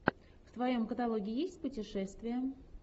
в твоем каталоге есть путешествия